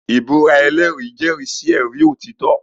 Ìbúra ẹlẹ́rìí jẹ́rìí sí ẹ̀rí òtítọ́.